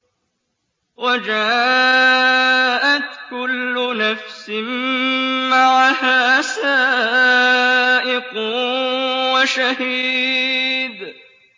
وَجَاءَتْ كُلُّ نَفْسٍ مَّعَهَا سَائِقٌ وَشَهِيدٌ